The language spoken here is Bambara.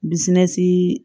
Dusɛni